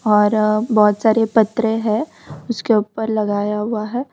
और बहुत सारे पतरे हैं उसके ऊपर लगाया हुआ है।